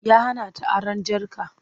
Ya hana ta aron jarka.